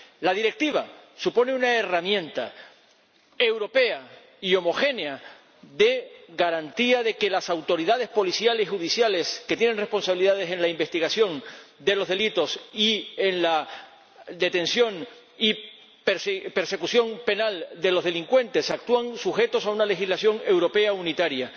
La Directiva supone una herramienta europea y homogénea de garantía de que las autoridades policiales y judiciales, que tienen responsabilidades en la investigación de los delitos y en la detención y persecución penal de los delincuentes, actúan sujetas a una legislación europea unitaria.